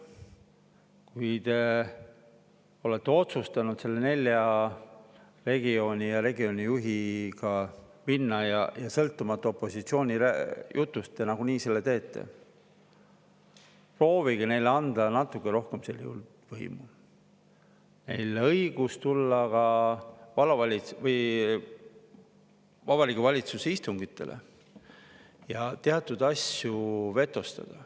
Kui te olete otsustanud nende nelja regiooni ja regioonijuhiga edasi minna, ja sõltumata opositsiooni jutust te nagunii seda teete, siis proovige neile anda natuke rohkem võimu, neile õigus tulla ka Vabariigi Valitsuse istungitele ja teatud asju vetostada.